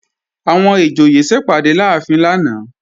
Àwọn ìjòyè sẹpàdé láàfin lánàá